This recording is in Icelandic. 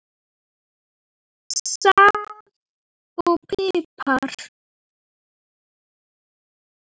Salt og pipar